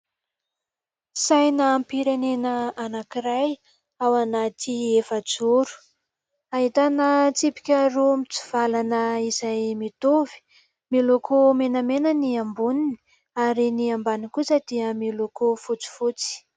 Sainam-pirenena anankiray ao anaty efa-joro. Ahitana tsipika roa mitsivalana izay mitovy : miloko menamena ny amboniny ary ny ambaniny kosa dia miloko fotsifotsy.